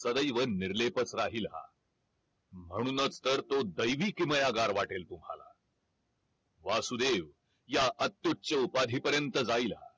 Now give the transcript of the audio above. सदैव निर्लेपच राहील हा म्हणूनच तर तो दैवी किमयागार वाटेल तुम्हाला वासुदेव या अत्युच्य उपाधी परियंत जाईल